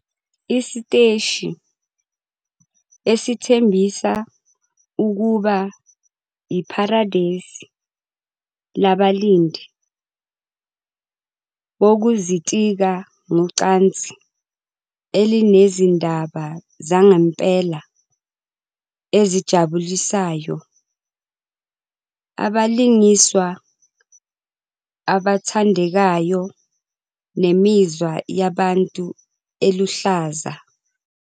Isiteshi esithembisa ukuba yipharadesi labalindi bokuzitika ngocansi elinezindaba zangempela ezijabulisayo, abalingiswa abathandekayo, nemizwa yabantu eluhlaza.